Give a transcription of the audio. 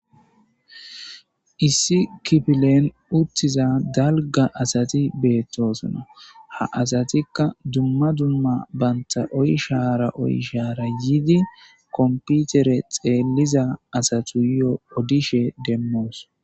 Issi kipilen uttiza dalga asati beettosona ha asatikka dumma dumma banta oy shaara oy shaara yiidi komputere xeelliza asatu yo odishe demmoos.